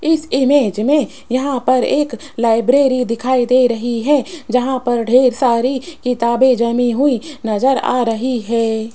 इस इमेज में यहां पर एक लाइब्रेरी दिखाई दे रही है जहां पर ढेर सारी किताबें जमी हुई नजर आ रही है।